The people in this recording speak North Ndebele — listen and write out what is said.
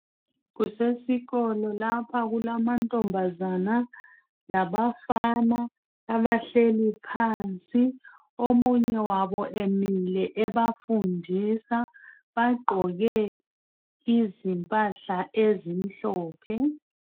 Kusesikolo lapha kulamantombazana labafana abahleli phansi omunye wabo emile ebafundisa. Bagqoke izimpahla ezimhlophe.